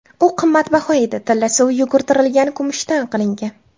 U qimmatbaho edi: tilla suvi yugurtirilgan kumushdan qilingan.